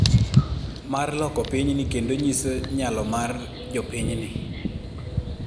mar loko pinyni kendo nyiso nyalo mar jopiny'ni